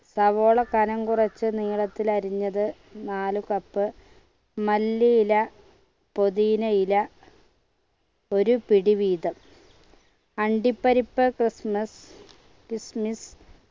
സവാള കനം കുറച്ച് നീളത്തിൽ അരിഞ്ഞത് നാല് cup മല്ലിയില പുതിനയില ഒരു പിടി വീതം അണ്ടിപ്പരിപ്പ് ക്രിസ്‌മിസ്‌ kismis